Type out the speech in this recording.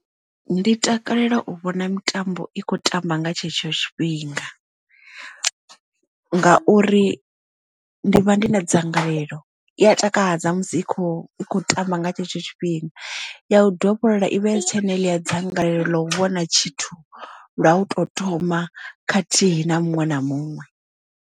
Ndi takalela u vhona mitambo i khou tamba nga tshetsho tshifhinga ngauri ndi vha ndi na dzangalelo i a takadza musi i kho i kho tamba nga tshetsho tshifhinga ya u dovholola i vha isi tshena heḽia dzangalelo ḽa u vhona tshithu lwa u to thoma khathihi na muṅwe na muṅwe.